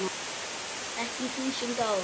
Ekki í þúsund ár.